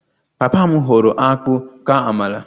Papa m họọrọ akpu ka amala